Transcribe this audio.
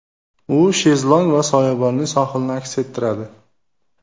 U shezlong va soyabonli sohilni aks ettiradi.